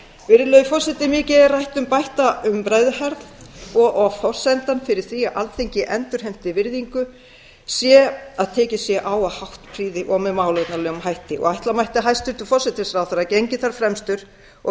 virðulegi forseti mikið er rætt um bætta umræðuhefð og forsendan fyrir því að alþingi endurheimti virðingu sé að tekið sé á af háttprýði og með málefnalegum hætti ætla mætti að hæstvirtur forsætisráðherra gengi þar fremstur og